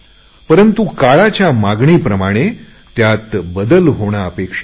परंतु काळाच्या मागणीप्रमाणे त्यात बदल होणे अपेक्षित आहे